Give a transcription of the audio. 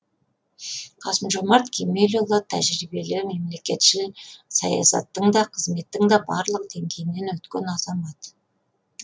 қасым жомарт кемелұлы тәжірибелі мемлекетшіл саясаттың да қызметтің барлық деңгейінен өткен азамат